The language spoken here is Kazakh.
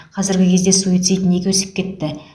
қазіргі кезде суицид неге өсіп кетті